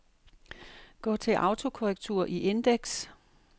Gå til autokorrektur i indeks.